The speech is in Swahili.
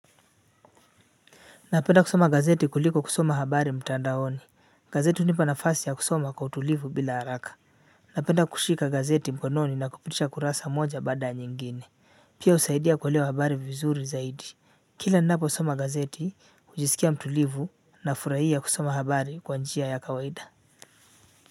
Napenda kusoma gazeti kuliko kusoma habari mtandaoni. Gazeti hunipa nafasi ya kusoma kwa utulivu bila haraka. Napenda kushika gazeti mkononi na kupitisha kurasa moja baada ya nyingine. Hii husaidia kuelewa habari vizuri zaidi. Kila ninaposoma gazeti hujiskia mtulivu, nafurahia kusoma habari kwa njia ya kawaida.